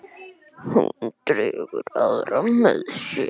Hún dregur aðra með sér.